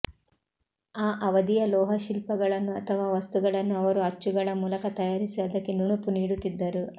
ಆ ಅವಧಿಯ ಲೋಹ ಶಿಲ್ಪಗಳನ್ನು ಅಥವಾ ವಸ್ತುಗಳನ್ನು ಅವರು ಅಚ್ಚುಗಳ ಮೂಲಕ ತಯಾರಿಸಿ ಅದಕ್ಕೆ ನುಣುಪು ನೀಡುತ್ತಿದ್ದರು